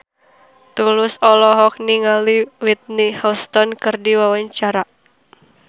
Tulus olohok ningali Whitney Houston keur diwawancara